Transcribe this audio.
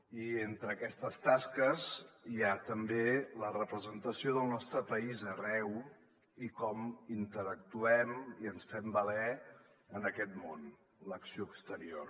i entre aquestes tasques hi ha també la representació del nostre país arreu i com interactuem i ens fem valer en aquest món l’acció exterior